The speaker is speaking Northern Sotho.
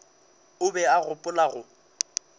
o be a gopola go